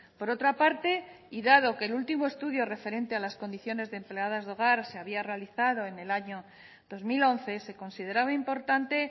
por otra parte y dado que el último estudio referente a las condiciones de empleadas de hogar de había realizado en el año dos mil once se consideraba importante